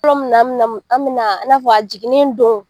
N'a fɔ a jiginnen don